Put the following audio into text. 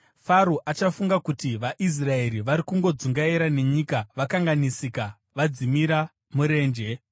Faro achafunga kuti, ‘VaIsraeri vari kungodzungaira nenyika vakanganisika, vadzimira murenje.’